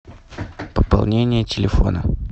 пополнение телефона